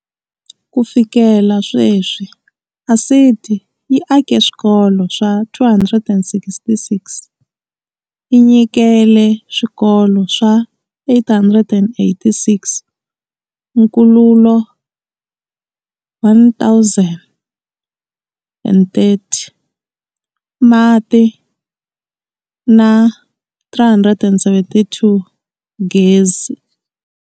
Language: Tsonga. Ku fikela sweswi, ASIDI yi ake swikolo swa 266, yi nyikele swikolo swa 886 nkulululo, 1 030 mati na 372 gezi.